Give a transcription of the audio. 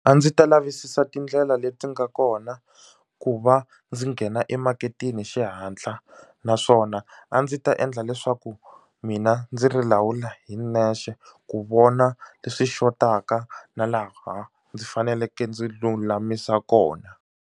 A ndzi ta lavisisa tindlela leti nga kona ku va ndzi nghena emaketeni hi xihatla naswona a ndzi ta endla leswaku mina ndzi ri lawula hi nexe ku vona leswi xotaka na laha ndzi faneleke ndzi lulamisa kona.